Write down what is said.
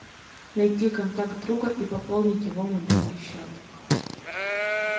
найти контакт друга и пополнить его мобильный счет